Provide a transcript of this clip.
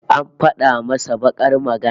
An fada masa bakar magana